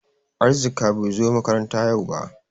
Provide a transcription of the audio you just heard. Arzika bai zo makaranta yau ba.